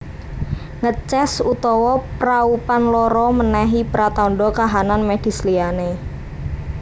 Ngeces utawa praupan lara menehi pratandha kahanan medis liyane